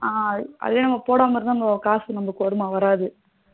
அ அதுவே நம்ம போடாம இருந்தா காசு நமக்கு வருமா வராது